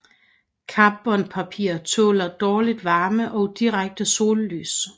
Karbonpapir tåler dårligt varme og direkte sollys